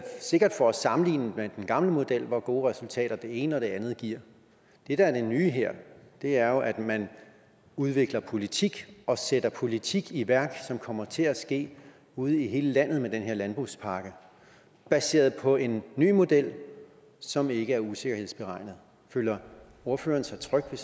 sikkert for at sammenligne med den gamle model hvor gode resultater det ene og det andet giver det der er det nye her er jo at man udvikler politik og sætter politik i værk som kommer til at ske ude i hele landet med den her landbrugspakke baseret på en ny model som ikke er usikkerhedsberegnet føler ordføreren sig tryg ved